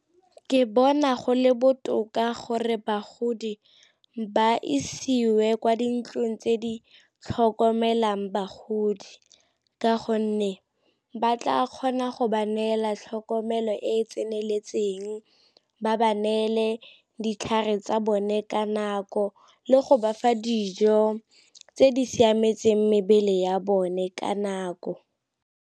Ke bona go le botoka gore bagodi ba isiwe kwa dintlong tse di tlhokomelang bagodi ka gonne ba tla kgona go ba neela tlhokomelo e e tseneletseng, ba ba neele ditlhare tsa bone ka nako, le go ba fa dijo tse di siametseng mebele ya bone ka nako.